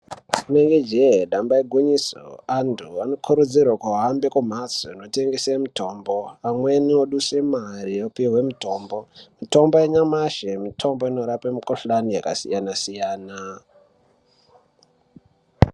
Rinenge je damba igwinyiso vantu vanokurudzirwa kuhamba kumbatso inotengesa mitombo pamweni yodusa mare opihwe mitombo mitombo yanyamashi mitombo inorapa mikuhlani yakasiyana-siyana.